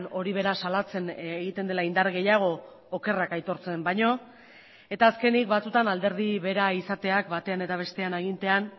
hori bera salatzen egiten dela indar gehiago okerrak aitortzen baino eta azkenik batzutan alderdi bera izateak batean eta bestean agintean